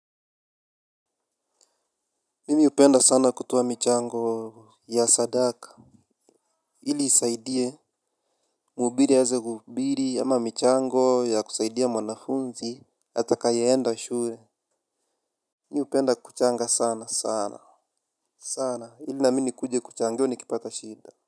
Mimi hupenda sana kutoa michango ya sadaka ili isaidie mhubiri aweze kuhubiri ama michango ya kusaidia mwanafunzi atakaye enda shule. Mimi hupenda kuchanga sana sana sana. Sana ili nami nikuje kuchangiwa nikipata shida.